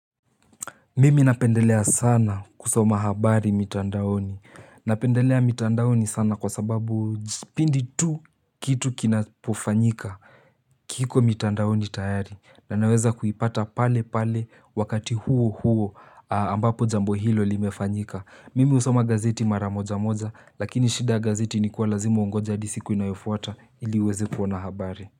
Mimi napendelea sana kusoma habari mitandaoni. Napendelea mitandaoni sana kwa sababu pindi tu kitu kinapofanyika. Kiko mitandaoni tayari na naweza kuipata pale pale wakati huo huo ambapo jambo hilo limefanyika. Mimi husoma gazeti mara moja moja lakini shida ya gazeti ilikuwa lazima ungoje hadi siku inayofuata ili uweze kuona habari.